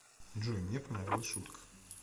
джой мне понравилась шутка